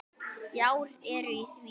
Gjár eru í því.